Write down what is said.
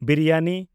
biryani